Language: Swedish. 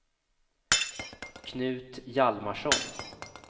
Knut Hjalmarsson